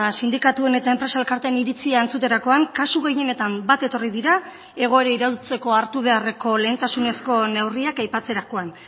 sindikatuen eta enpresa elkarteen iritzia entzuterakoan kasu gehienetan bat etorri dira egoera iraultzeko hartu beharreko lehentasunezko neurriak aipatzerakoan